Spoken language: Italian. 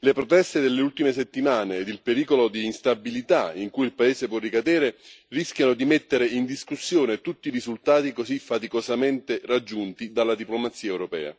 Le proteste delle ultime settimane e il pericolo di instabilità in cui il paese può ricadere rischiano di mettere in discussione tutti i risultati così faticosamente raggiunti dalla diplomazia europea.